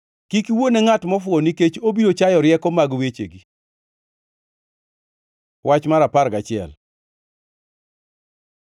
Kik iwuo ne ngʼat mofuwo, nikech obiro chayo rieko mag wechegi. Wach mar apar gachiel